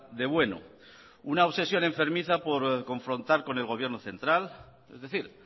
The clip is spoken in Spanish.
de bueno una obsesión enfermiza por confrontar con el gobierno central es decir